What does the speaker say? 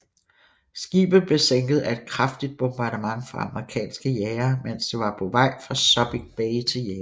Skibet blev sænket af et kraftig bombardement fra amerikanske jagere mens det var på vej fra Subic Bay til Japan